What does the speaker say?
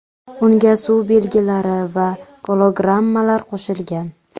Unga suv belgilari va gologrammalar qo‘shilgan.